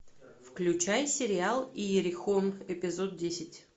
включай сериал иерихон эпизод десять